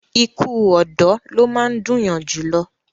ikú ọ̀dọ́ ló máa ń dùn yan jù lọ